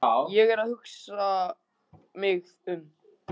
Ég er bara að hugsa mig um.